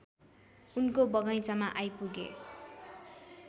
उनको बगैँचामा आइपुगे